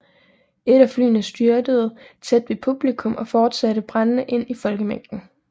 Et af flyene styrtede tæt ved publikum og fortsatte brændende ind i folkemængden